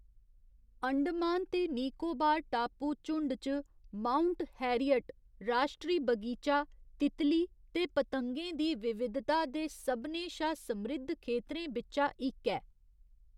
अंडमान ते निकोबार टापू झुण्ड च माउंट हैरियट राश्ट्री बगीचा तितली ते पतंगें दी विविधता दे सभनें शा समृद्ध खेतरें बिच्चा इक ऐ।